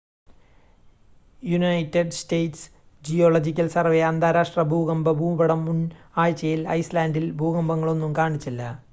United States Geological Survey അന്താരാഷ്ട്ര ഭൂകമ്പ ഭൂപടം മുൻ ആഴ്ചയിൽ ഐസ്ലാൻഡിൽ ഭൂകമ്പങ്ങളൊന്നും കാണിച്ചില്ല